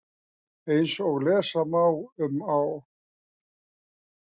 Eins og lesa má um á